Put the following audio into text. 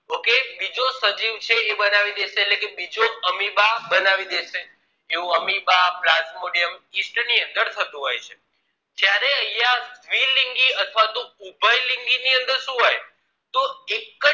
એક બીજો સજીવ છે એ બનાવી દેશે એટલે કે બીજો amoeba બનાવી દેશે એવું amoebaplasmodiumyeast ની અંદર થતું હોય જયારેઅહિયાં દ્વીલિંગી અથવા તોઉભય લિંગી ની અંદર શું હોય તોહ એકજ